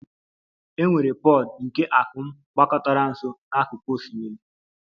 E nwere pod nke akum gbakọtara nso n'akụkụ osimiri